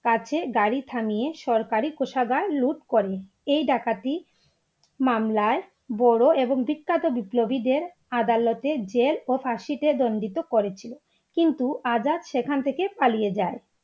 কাছে গাড়ি থামিয়ে সরকারি কোষাগার loot করে এই ডাকাতি মামলায় বড়ো এবং বিখ্যাত বিপ্লবীদের আদালতে jail ও ফাঁসি তে দণ্ডিত করেছিল, কিন্তু আজাদ সেখান থেকে পালিয়ে যায়